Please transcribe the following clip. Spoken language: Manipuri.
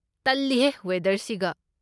ꯇꯜꯂꯤꯍꯦ, ꯋꯦꯗꯔꯁꯤꯒ?